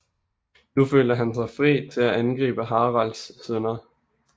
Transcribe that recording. Nu følte han sig fri til at angribe Haralds sønner